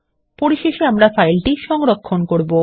পরিশেষে আমরা ফাইলটি সংরক্ষণ করব